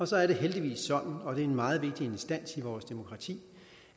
så er det heldigvis sådan og det er en meget vigtig instans i vores demokrati